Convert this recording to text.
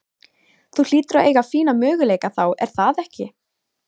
Þú hlýtur að eiga fína möguleika þá er það ekki?